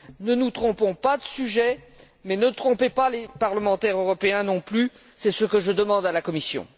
Ne nous trompons pas de sujet, mais ne trompez pas les parlementaires européens non plus, voilà ce que je demande à la Commission.